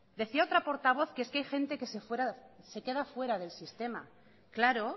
decía otra portavoz que hay gente que se queda fuera del sistema claro